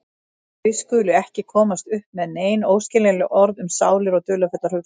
Þau skulu ekki komast upp með nein óskiljanleg orð um sálir og dularfullar hugsanir.